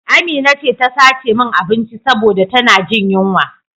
Amina ce ta sace min abinci saboda ta na jin yunwa